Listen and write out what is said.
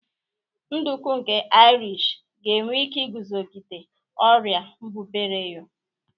Nduku nke Irish ga-enwe ike iguzogide ọrịa mbubreyo.